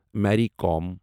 میری قوم